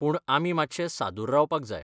पूण आमी मात्शें सादूर रावपाक जाय.